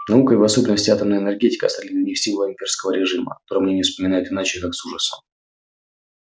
наука и в особенности атомная энергетика стали для них символом имперского режима о котором они не вспоминают иначе как с ужасом